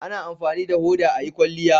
A na amfani da hoda a yi kwalliya